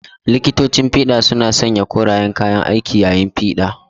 Likitocin fida suna sanya korayen kayan aiki yayin tiyata.